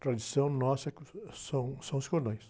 Tradição nossa, são, são os cordões.